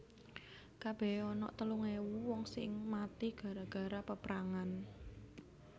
Kabehe onok telung ewu wong sing mati gara gara peprangan